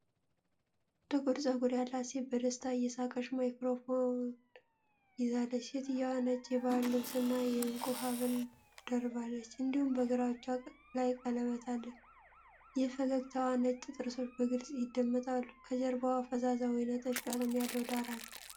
ጥቁር ጸጉር ያላት ሴት በደስታ እየሳቀች ማይክሮፎን ይዛለች። ሴትየዋ ነጭ የባህል ልብስ እና የእንቁ ሐብል ደርባለች፤ እንዲሁም በግራ እጇ ላይ ቀለበት አለ፣ የፈገግታዋ ነጭ ጥርሶች በግልጽ ይደመጣሉ፤ ከጀርባዋ ፈዛዛ ወይንጠጅ ቀለም ያለው ዳራ አለ።